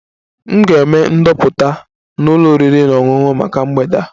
M ga-eme ndoputa na ụlọ oriri na ọṅụṅụ maka mgbede a